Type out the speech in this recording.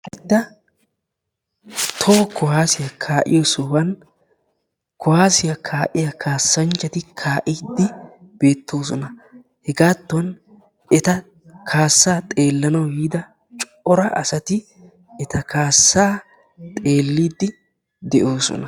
toho kuwassiya kaa'iyoo sohuwan kuwaassiya kaa'iyaa kaassanchchati kaa'ide beettoosona hegatton eta kaassa xeelanaw yiida cora asati eta kaassaa xeelide de'oosona